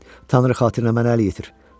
Tanrı xatirinə mənə əl yetir.